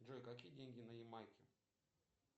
джой какие деньги на ямайке